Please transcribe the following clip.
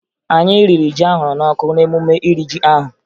Anyị riri ji ahụrụ n'ọkụ n'emume iri ji ahụ